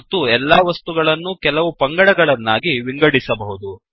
ಮತ್ತು ಎಲ್ಲಾ ವಸ್ತುಗಳನ್ನೂ ಕೆಲವು ಪಂಗಡಗಳನ್ನಾಗಿ ವಿಂಗಡಿಸಬಹುದು